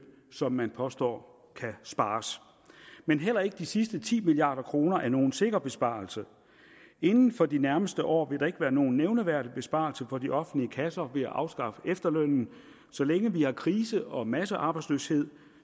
som man påstår kan spares men heller ikke de sidste ti milliard kroner er nogen sikker besparelse inden for de nærmeste år vil der ikke være nogen nævneværdig besparelse for de offentlige kasser ved at afskaffe efterlønnen så længe vi har krise og massearbejdsløshed